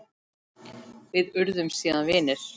Við urðum síðan vinir.